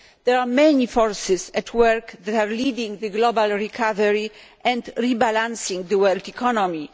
There are many forces at work in leading the global recovery and rebalancing the world economy.